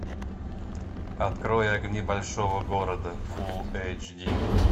открой огни большого города фул эйч ди